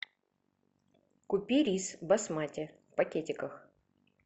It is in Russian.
купи рис басмати в пакетиках